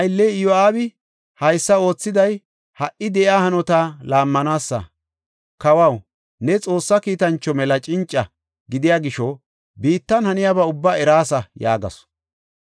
Ne aylley Iyo7aabi haysa oothiday ha77i de7iya hanota laammanaasa. Kawaw, new Xoossa kiitancho mela cinca gidiya gisho biittan haniyaba ubbaa eraasa” yaagasu.